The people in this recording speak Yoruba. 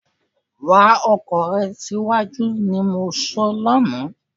Wá ọkọ rè síwájú ni mo sọ lánàá